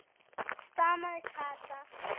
stamaði Kata.